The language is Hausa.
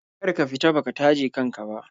Kar ka fita baka taje kan ka ba.